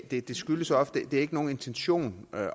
det skyldes ofte ikke en intention